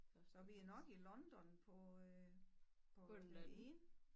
Så vi er nok i London på øh på den ene